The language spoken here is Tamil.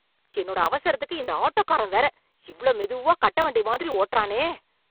என்னோட அவசரத்துக்கு இந்த ஆட்டோகாரன் வேற இவ்ளோ மெதுவா கட்ட வண்டி மாதிரி ஓட்டறானே.